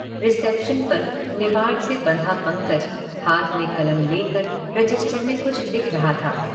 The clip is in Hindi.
रिसेप्शन पर निवाड से बंधा पंकज हाथ में कलम लेकर रजिस्टर में कुछ लिख रहा था।